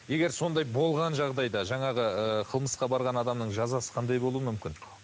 егер сондай болған жағдайда жаңағы ы қылмысқа барған адамның жазасы қандай болуы мүмкін